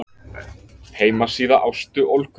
Heimasíða Ástu Olgu.